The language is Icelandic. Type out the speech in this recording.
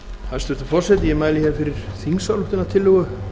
hæstvirtur forseti ég mæli hér fyrir þingsályktunartillögu